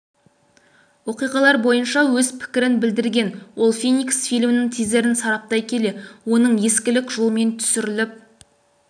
оқиғалар бойынша өз пікірін білдірген ол феникс фильмінің тизерін сараптай келе оның ескілік жолмен түсіріліп